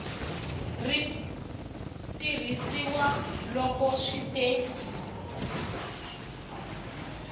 ri tirhisiwa loko swi te